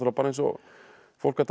eins og fólk að dansa í